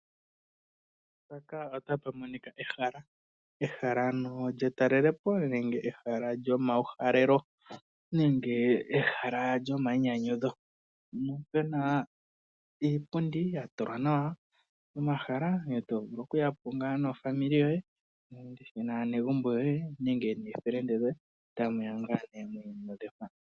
Mpaka ota pa monika ehala, ehala ano lye talelopo nenge lyomawuhalelo nenge ehal lyoma yiinyanyudho. Mpono pena iipundi ya tulwa nawa pomahala to vulu oku yapo nofamili yoye nende naanegumbo yoye nende noofelende dhoye tamu ya ngaa nee mwi inyanyudhe mpa.